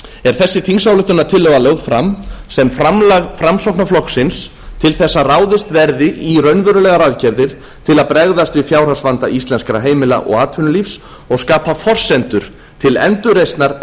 er þessi þingsályktunartillaga lögð fram sem framlag framsóknarflokksins til þess að ráðist verði í raunverulegar aðgerðir til að bregðast við fjárhagsvanda íslenskra heimila og atvinnulífs og skapa forsendur til endurreisnar